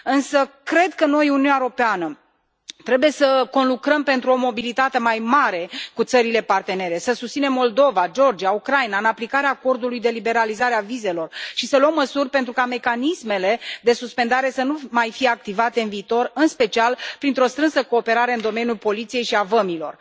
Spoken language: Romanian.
Însă cred că noi, Uniunea Europeană trebuie să conlucrăm pentru o mobilitate mai mare cu țările partenere, să susținem Moldova, Georgia, Ucraina în aplicarea acordului de liberalizare a vizelor și să luăm măsuri pentru ca mecanismele de suspendare să nu mai fie activate în viitor, în special printr o strânsă cooperare în domeniul poliției și al vămilor.